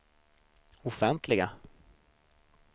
offentliga